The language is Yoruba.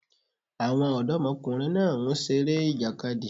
Àwọn ọ̀dọ́kùnrin náà ń seré ìjàkadì